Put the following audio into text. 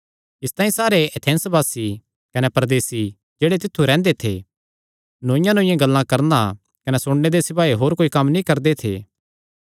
इसतांई सारे एथेंसवासी कने परदेसी जेह्ड़े तित्थु रैंह्दे थे नौईआंनौईआं गल्लां करणा कने सुणने दे सिवाय होर कोई कम्म नीं करदे थे